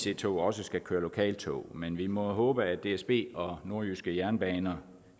ic tog også skal køre lokaltog men vi må håbe at dsb og nordjyske jernbaner